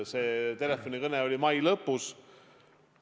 See telefonikõne oli mai lõpus.